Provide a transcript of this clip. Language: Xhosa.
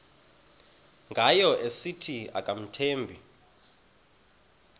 ngayo esithi akamthembi